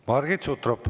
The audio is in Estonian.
Margit Sutrop.